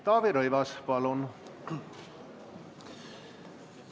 Taavi Rõivas, palun!